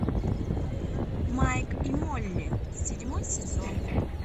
майк и молли седьмой сезон